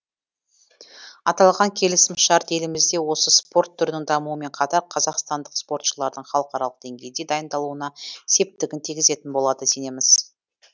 аталған келісім шарт елімізде осы спорт түрінің дамуымен қатар қазақстандық спортшылардың халықаралық деңгейде дайындалуына септігін тигізетін болады сенеміз